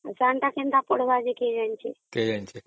ଆଉ ସାନଟା କେମିତି ପଢିବା କିଏ ଜାଣିଛି କିଏ ଜାଣିଛି